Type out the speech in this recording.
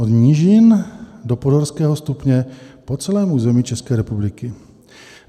Od nížin do podhorského stupně po celém území České republiky.